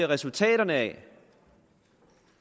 resultaterne af